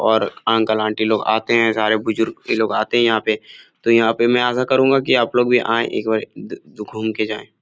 और uncle aunty लोग आते है सारे बुजुर्ग ए लोग आते हैं यहाँ पे तो यहाँ पे मैं ऐसा करुँगा की आप लोग भी आएं एक बार द द घूम के जाएं।